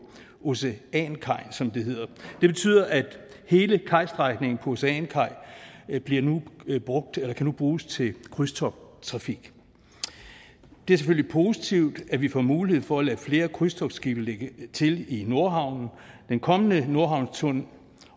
oceankaj som den hedder det betyder at hele kajstrækningen på oceankaj nu kan bruges til krydstogttrafik det er selvfølgelig positivt at vi får mulighed for at lade flere krydstogtskibe lægge til i nordhavnen den kommende nordhavnstunnel